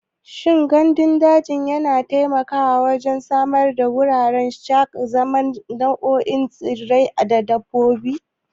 Shin gandun daji yana taimakawa wajen samar da wuraren zama ga nau'ikan tsirrai da dabbobi?